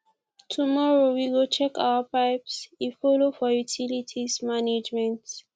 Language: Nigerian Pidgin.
tomorrow we go check our pipes e folo for utilities management